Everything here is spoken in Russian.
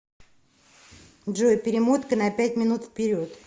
джой перемотка на пять минут вперед